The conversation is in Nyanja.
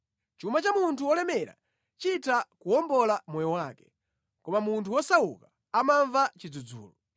Chuma cha munthu wolemera chitha kuwombola moyo wake, koma munthu wosauka amamva chidzudzulo.